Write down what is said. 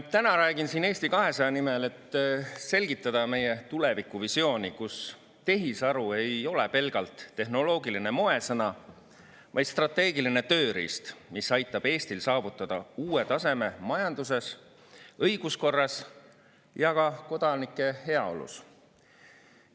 Täna räägin siin Eesti 200 nimel, et selgitada meie tulevikuvisiooni, kus tehisaru ei ole pelgalt tehnoloogiline moesõna, vaid strateegiline tööriist, mis aitab Eestil saavutada uue taseme majanduses, õiguskorras ja ka kodanike heaolus.